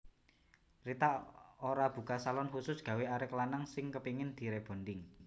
Rita Ora buka salon khusus gawe arek lanang sing kepingin di rebonding